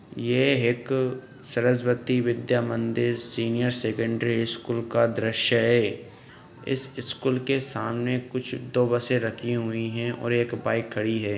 ये एक Saraswati Vidya Mandir senior secondary school का दृश्य है| इस स्कूल के सामने कुछ दो बसें रखी हुई है और एक बाइक खड़ी है।